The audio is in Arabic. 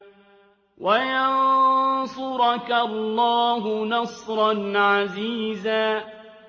وَيَنصُرَكَ اللَّهُ نَصْرًا عَزِيزًا